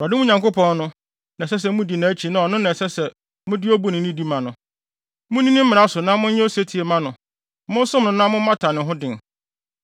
Awurade, mo Nyankopɔn no, na ɛsɛ sɛ mudi nʼakyi na ɔno na ɛsɛ sɛ mode obu ne nidi ma no. Munni ne mmara so na monyɛ osetie mma no; monsom no na mommata ne ho den.